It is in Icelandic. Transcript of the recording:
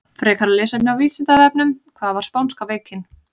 Frekara lesefni á Vísindavefnum: Hvað var spánska veikin?